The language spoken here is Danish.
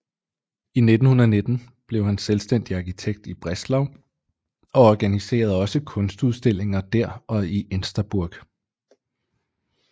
I 1919 blev han selvstændig arkitekt i Breslau og organiserede også kunstudstillinger der og i Insterburg